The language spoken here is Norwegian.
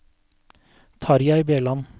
Tarjei Bjelland